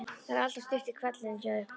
Það er alltaf stutt í hvellinn hjá okkur.